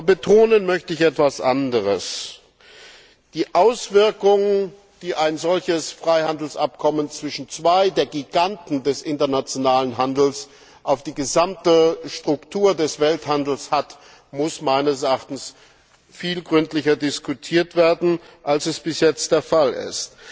Betonen möchte ich etwas anderes Die Auswirkungen, die ein solches Freihandelsabkommen zwischen zwei der Giganten des internationalen Handels auf die gesamte Struktur des Welthandels hat, müssen meines Erachtens viel gründlicher diskutiert werden, als es bis jetzt der Fall ist.